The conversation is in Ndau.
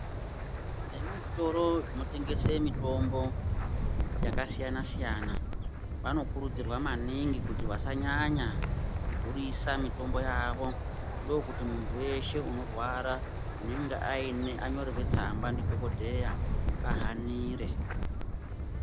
Vemuzvitoro zvinotengese mitombo yakasiyana siyana vanokurudzirwa maningi kuti vakanyanya kudhurisa mitombo yavo ndokuti muntu weshe unorwara unenge anyorerwa tsamba ndidhokodheya ahanire.